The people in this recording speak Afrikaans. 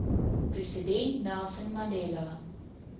president nelson mandela